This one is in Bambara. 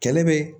Kɛlɛ bɛ